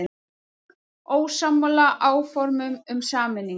Ósammála áformum um sameiningu